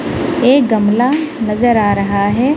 एक गमला नजर आ रहा है।